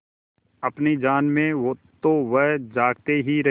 अपनी जान में तो वह जागते ही रहे